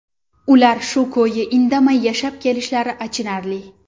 Ular shu ko‘yi indamay yashab kelishlari achinarli.